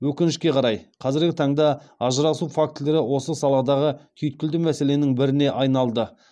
өкінішке қарай қазіргі таңда ажырасу фактілері осы саладағы түйткілді мәселенің біріне айналды